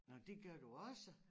Nå det gør du også